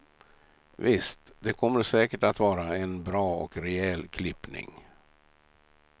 Visst, det kommer säkert att vara en bra och rejäl klippning.